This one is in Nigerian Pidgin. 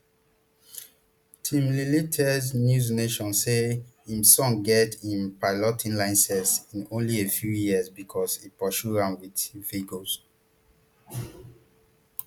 tim lilley tell newsnation say im son get im piloting license in only a few years becos e pursue am wit vigour